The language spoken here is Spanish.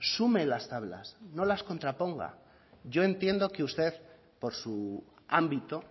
sume las tablas no las contraponga yo entiendo que a usted por su ámbito